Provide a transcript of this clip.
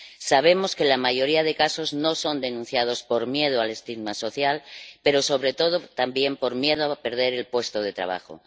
Sabemos que la mayoría de casos no son denunciados por miedo al estigma social, pero, sobre todo, también por miedo a perder el puesto de trabajo.